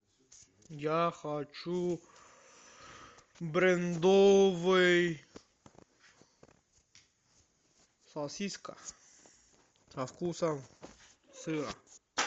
я хочу брендовый сосиска со вкусом сыра